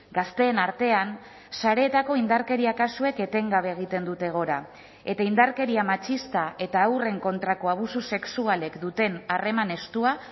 gazteen artean sareetako indarkeria kasuek etengabe egiten dute gora eta indarkeria matxista eta haurren kontrako abusu sexualek duten harreman estua